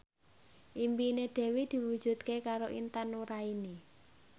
impine Dewi diwujudke karo Intan Nuraini